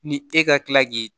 Ni e ka tila k'i